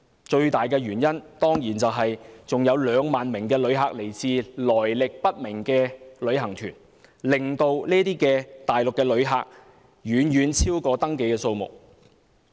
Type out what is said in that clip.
最大的原因當然是有2萬名旅客來自來歷不明的旅行團，令大陸旅客的人數遠遠超過登記的數目。